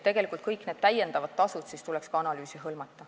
Tegelikult tuleks ka kõik täiendavad tasud analüüsiga hõlmata.